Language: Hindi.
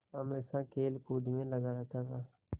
हमेशा खेलकूद में लगा रहता था